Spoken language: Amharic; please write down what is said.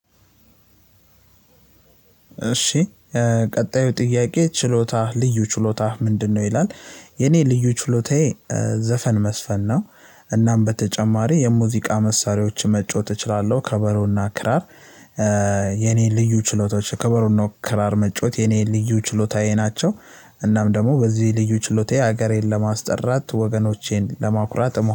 እሺ ቀጣዩ ጥያቄ ችሎታህ ልዩ ችሎታህ ምንድነው? ይላል የኔ ልዩ ችሎታዬ ዘፈን መዝፈን ነው። እናም በተጨማሪ የሙዚቃ መሳሪያዎች መጫወት እችላለሁ ከበሮና ክራር። የኔ ልዩ ችሎታዎች ከበሮና ክራር መጫወት የኔን ልዩ ችሎታዬ ናቸው። እናም ደግሞ በዚህ ልዩ ችሎታዬ ሀገሬን ለማስጠራት ወገኖቼን ለማኩራት እሞ